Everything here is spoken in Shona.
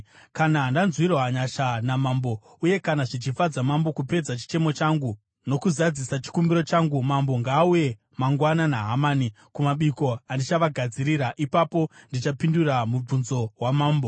Kana ndanzwirwa nyasha namambo uye kana zvichifadza mambo kupedza chichemo changu nokuzadzisa chikumbiro changu, mambo ngaauye mangwana naHamani kumabiko andichavagadzirira. Ipapo ndichapindura mubvunzo wamambo.”